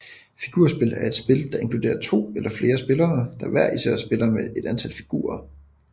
Figurspil er spil der inkluderer to eller flere spillere der hver især spiller med et antal figurer